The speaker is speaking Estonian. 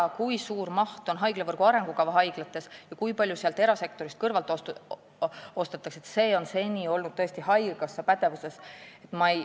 See, kui suur maht on haiglavõrgu arengukava haiglatel ja kui palju erasektorist juurde ostetakse, on seni tõesti haigekassa pädevuses olnud.